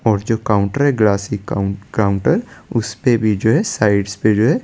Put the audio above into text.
और जो काउंटर है ग्रासरी काउंटर उसपे भी जो है साइड्स पे जो है ।